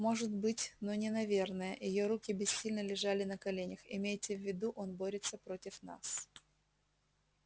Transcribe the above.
может быть но не наверное её руки бессильно лежали на коленях имейте в виду он борется против нас